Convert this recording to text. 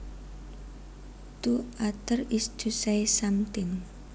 To utter is to say something